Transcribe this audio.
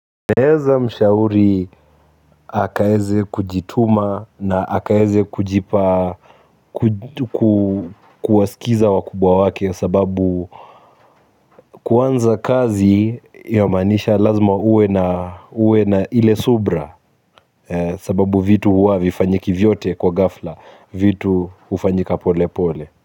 Naeza mshauri akaeze kujituma na akaeze kujipa kuwasikiza wakubwa wake sababu kuanza kazi ya maanisha lazima uwe na uwe na ile subira sababu vitu huwa havifanyiki vyote kwa ghafla vitu hufanyika pole pole.